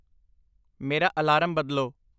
ਮੇਰਾ ਅਲਾਰਮ ਬਦਲੋ